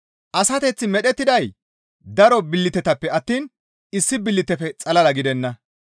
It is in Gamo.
Asateththi medhettiday daro billitetappe attiin issi billitefe xalala gidenna.